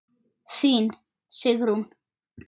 Þín, Sigrún.